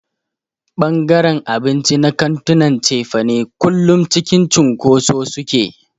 Ɓangaren abinci na kantunan cefane kullum cikin cunkoso suke.